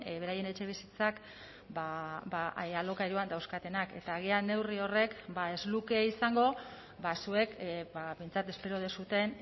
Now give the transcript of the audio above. beraien etxebizitzak alokairuan dauzkatenak eta agian neurri horrek ez luke izango zuek behintzat espero duzuen